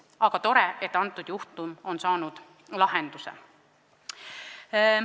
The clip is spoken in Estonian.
Aga tore, et see juhtum on saanud lahenduse.